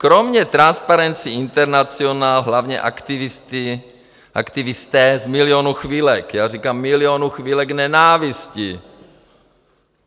Kromě Transparency International hlavně aktivisté z Milionu chvilek, já říkám Milionu chvilek nenávisti.